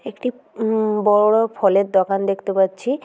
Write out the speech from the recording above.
একটি উমম বড়ো ফলের দোকান দেখতে পাচ্ছি।